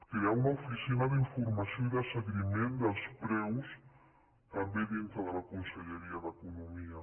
crear una oficina d’informació i de seguiment dels preus també dintre de la conselleria d’economia